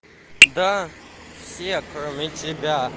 да все кроме тебя